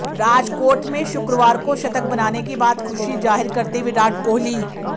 राजकोट में शुक्रवार को शतक बनाने के बाद खुशी जाहिर करते विराट कोहली